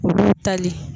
Olu tali